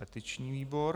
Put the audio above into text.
Petiční výbor.